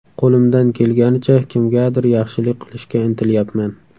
Qo‘limdan kelganicha kimgadir yaxshilik qilishga intilyapman.